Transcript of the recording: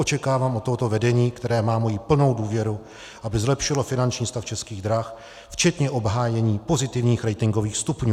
Očekávám od tohoto vedení, které má moji plnou důvěru, aby zlepšilo finanční stav Českých drah včetně obhájení pozitivních ratingových stupňů.